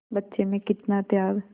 बच्चे में कितना त्याग